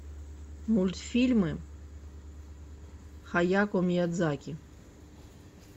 мультфильмы хаяко миядзаки